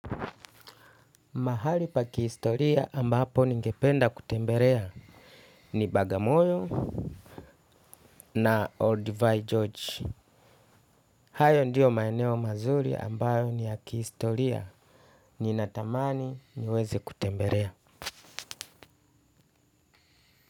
Mahali pa kihistoria ambapo ningependa kutemberea ni Bagamoyo na Olduvai George. Hayo ndiyo maeneo mazuri ambayo ni ya kihistoria ninatamani niweze kutemberea.